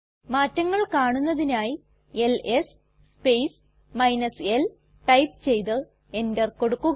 മാറ്റങ്ങൾ കാണുന്നതിനായി L S space l type ചെയ്ത് എന്റർ കൊടുക്കുക